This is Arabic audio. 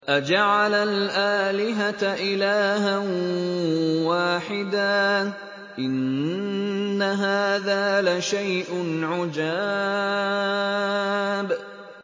أَجَعَلَ الْآلِهَةَ إِلَٰهًا وَاحِدًا ۖ إِنَّ هَٰذَا لَشَيْءٌ عُجَابٌ